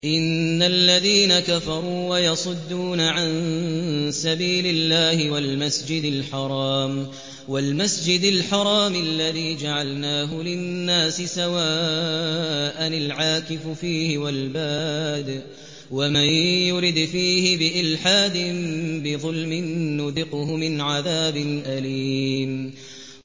إِنَّ الَّذِينَ كَفَرُوا وَيَصُدُّونَ عَن سَبِيلِ اللَّهِ وَالْمَسْجِدِ الْحَرَامِ الَّذِي جَعَلْنَاهُ لِلنَّاسِ سَوَاءً الْعَاكِفُ فِيهِ وَالْبَادِ ۚ وَمَن يُرِدْ فِيهِ بِإِلْحَادٍ بِظُلْمٍ نُّذِقْهُ مِنْ عَذَابٍ أَلِيمٍ